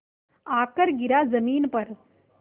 आकर गिरा ज़मीन पर